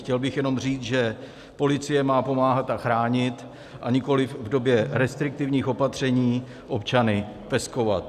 Chtěl bych jenom říct, že policie má pomáhat a chránit, a nikoliv v době restriktivních opatření občany peskovat.